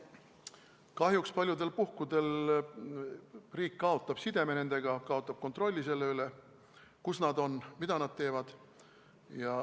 Kahjuks paljudel puhkudel kaotab riik nendega sideme, kaotab kontrolli selle üle, kus nad on, mida nad teevad.